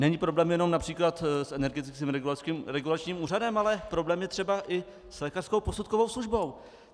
Není problém jenom například s Energetickým regulačním úřadem, ale problém je třeba i s lékařskou posudkovou službou.